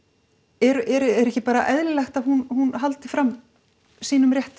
er ekki bara eðlilegt að hún haldi fram sínum rétti